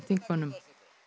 þingmönnum